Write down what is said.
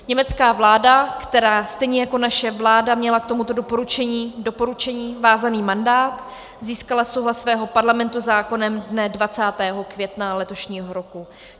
Německá vláda, která stejně jako naše vláda měla k tomuto doporučení vázaný mandát, získala souhlas svého parlamentu zákonem dne 20. května letošního roku.